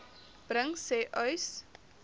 bring sê uys